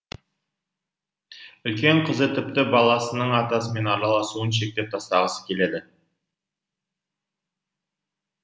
үлкен қызы тіпті баласының атасымен араласуын шектеп тастағысы келеді